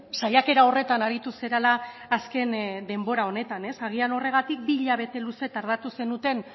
saiakera horretan aritu zarela azken denbora honetan ez agian horregatik bi hilabete luze tardatu zenuten